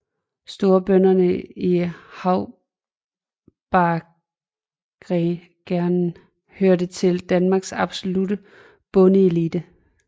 Storbønderne i haubargerne hørte til Danmarks absolutte bondeelite